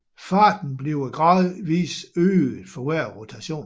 Farten bliver gradvist øget for hver rotation